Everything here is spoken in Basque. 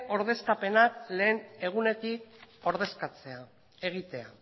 ordezkapen lehen egunetik egitea